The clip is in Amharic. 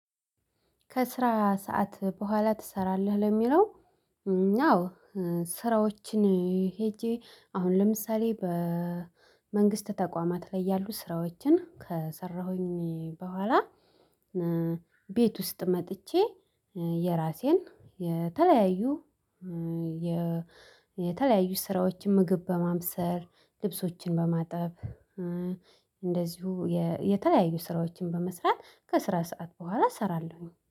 ከስራ ሰዓት በኋላ ትሰራለህ ለሚለው? አዎ ስራዎችን ሄጄ አሁን ለምሳሌ በመንግስት ተቋማት ላይ ያሉ ስራዎችን ከሰራሁኝ በኋላ። ቤት ውስጥ መጥቼ። የራሴን የተለያዩ የተለያዩ ስራዎችን ምግብ በማብሰል ልብሶችን በማጠብ እንደዚሁ የተለያዩ ስራዎችን በመስራት ከስራ ሰዓት በኋላ እሰራለሁኝ